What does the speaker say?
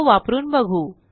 तो वापरून बघू